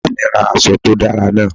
Mama mi ra aṣọ to dara naa